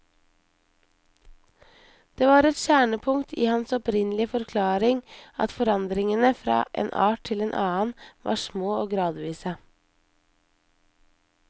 Det var et kjernepunkt i hans opprinnelige forklaring at forandringene fra en art til en annen var små og gradvise.